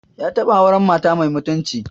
Ya taɓa auren mata mai mutunci